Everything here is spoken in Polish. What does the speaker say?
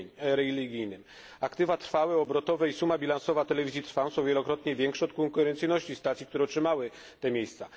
religijnym. Aktywa trwałe i obrotowe i suma bilansowa telewizji Trwam są wielokrotnie większe od konkurencyjnych stacji, które otrzymały te miejsca.